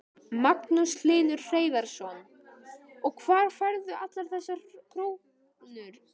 Magnús Hlynur Hreiðarsson: Og hvar færðu allar þessar krónur?